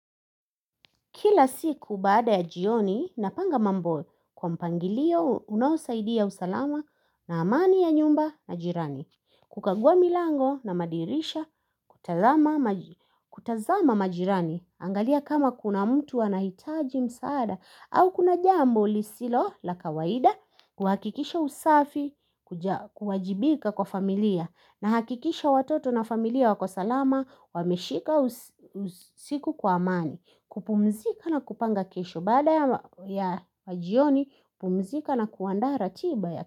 Kila siku baada ya jioni, napanga mambo kwa mpangilio unaosaidia usalama na amani ya nyumba na jirani. Kukagua milango na madirisha kutazama majirani. Angalia kama kuna mtu anahitaji msaada au kuna jambo lisilo la kawaida kuhakikisha usafi kuajibika kwa familia na hakikisha watoto na familia wako salama wameshika usiku kwa amani. Kupumzika na kupanga kesho baada ya majioni pumzika na kuandaa ratiba ya kesho.